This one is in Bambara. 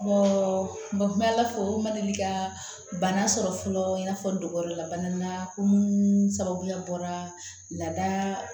n bɛ ala fo o ma deli ka bana sɔrɔ fɔlɔ i n'a fɔ dogolabana na ko munnu sababu bɔra la